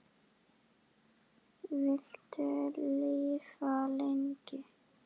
Viltu lifa lengi?